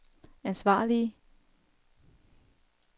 ansvarlige